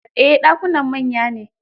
Eh, ɗakunan manya ne.